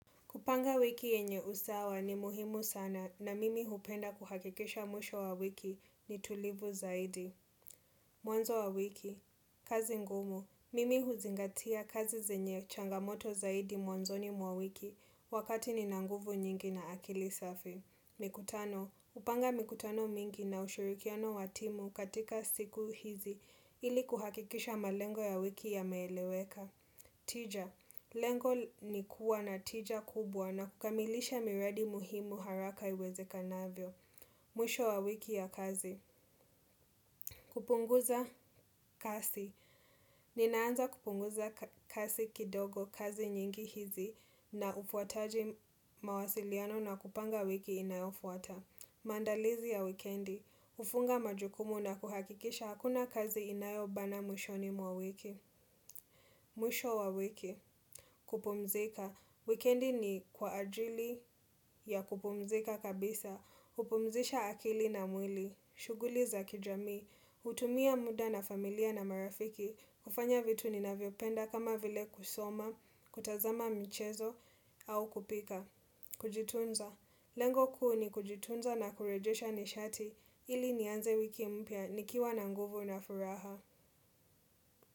Kupanga wiki yenye usawa ni muhimu sana na mimi hupenda kuhakikisha mwisho wa wiki ni tulivu zaidi. Mwanzo wa wiki, kazi ngumu, mimi huzingatia kazi zenye changamoto zaidi mwanzo ni mwawiki wakati ni nanguvu nyingi na akili safi. Mikutano, upanga mikutano mingi na ushirikiano watimu katika siku hizi ili kuhakikisha malengo ya wiki ya meeleweka. Tija. Lengo ni kuwa na tija kubwa na kukamilisha miradi muhimu haraka iweze kanavyo. Mwisho wa wiki ya kazi. Kupunguza kasi. Ninaanza kupunguza kasi kidogo kazi nyingi hizi na ufuataji mawasiliano na kupanga wiki inayofuata. Maandalizi ya wikendi. Ufunga majukumu na kuhakikisha hakuna kazi inayobana mwisho ni mwa wiki. Mwisho wa wiki. Kupumzika. Weekendi ni kwa ajili ya kupumzika kabisa. Kupumzisha akili na mwili. Shuguli za kijamii. Utumia muda na familia na marafiki. Kufanya vitu ni naviopenda kama vile kusoma, kutazama mchezo au kupika. Kujitunza. Lengo kuu ni kujitunza na kurejesha nishati ili nianze wiki mpya nikiwa na nguvu na furaha.